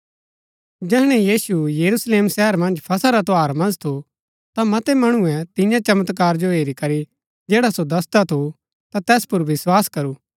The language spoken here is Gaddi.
जैहणै यीशु यरूशलेम शहर मन्ज फसह रा त्यौहार मन्ज थू ता मतै मणुऐ तियां चमत्कार जो हेरी करी जैडा सो दसदा थू ता तैस पुर विस्वास करू